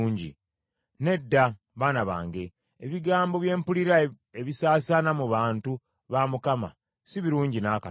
Nedda, baana bange; ebigambo bye mpulira ebisaasaana mu bantu ba Mukama si birungi n’akatono.